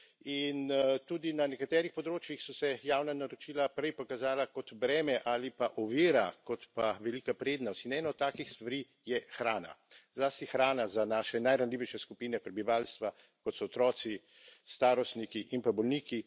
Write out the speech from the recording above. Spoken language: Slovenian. In tudi na nekaterih področjih so se javna naročila prej pokazala kot breme ali pa ovira kot pa velika prednost in ena takih stvari je hrana, zlasti hrana za naše najranljivejše skupine prebivalstva, kot so otroci, starostniki in pa bolniki.